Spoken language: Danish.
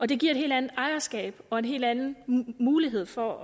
det giver et helt andet ejerskab og en helt anden mulighed for